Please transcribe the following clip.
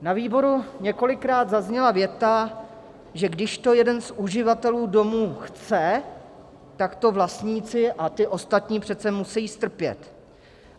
Na výboru několikrát zazněla věta, že když to jeden z uživatelů domu chce, tak to vlastníci a ti ostatní přece musí strpět.